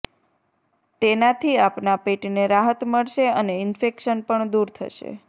તેનાથી આપનાં પેટને રાહત મળશે અને ઇન્ફેક્શન પણ દૂર થશે